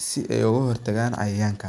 si ee oga hortagan cayayanka.